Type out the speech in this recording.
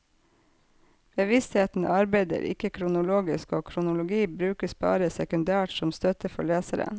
Bevisstheten arbeider ikke kronologisk, og kronologi brukes bare sekundært som støtte for leseren.